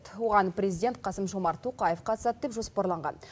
оған президент қасым жомарт тоқаев қатысады деп жоспарланған